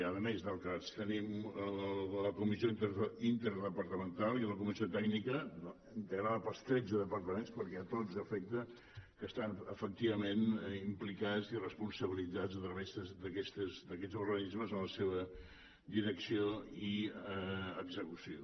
a més del cads tenim la comissió interdepartamental i la comissió tècnica integrada pels tretze departaments perquè a tots afecta que estan efectivament implicats i responsabilitzats a través d’aquests organismes en la seva direcció i execució